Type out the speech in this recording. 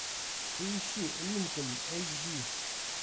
поищи линкольн эйч ди